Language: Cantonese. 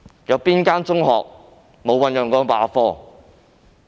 哪間中學沒有醞釀罷課？